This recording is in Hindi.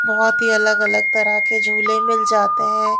बहोत ही अलग अलग तरह के झूले मिल जाते हैं।